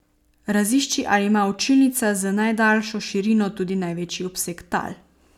Razišči, ali ima učilnica z najdaljšo širino tudi največji obseg tal.